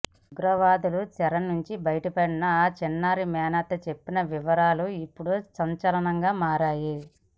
ఉగ్రవాదుల చెర నుంచి బయటపడిన ఆ చిన్నారి మేనత్త చెప్పిన వివరాలు ఇప్పుడు సంచలనంగా మారాయి